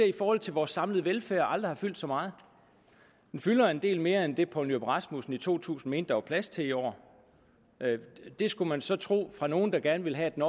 i forhold til vores samlede velfærd aldrig har fyldt så meget den fylder en del mere end det herre poul nyrup rasmussen i to tusind mente at der var plads til i år det skulle man så tro at fra nogle der gerne vil have at den